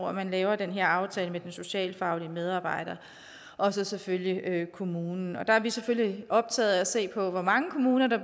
at man laver den her aftale med den socialfaglige medarbejder og så selvfølgelig kommunen og der er vi selvfølgelig optaget af at se på hvor mange kommuner der